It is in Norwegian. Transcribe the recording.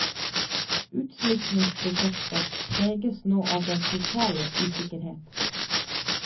Utsmykkingsprosjektet preges nå av den totale usikkerhet.